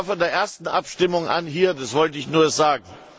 Ich war von der ersten Abstimmung an hier. Das wollte ich nur sagen.